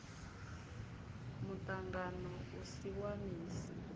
muṱangano u si wa misi